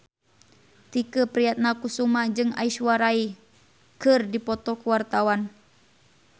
Tike Priatnakusuma jeung Aishwarya Rai keur dipoto ku wartawan